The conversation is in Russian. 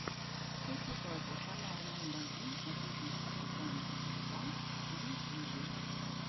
хэппи бади канал номер один о фитнесе питании и спа на ютьюбе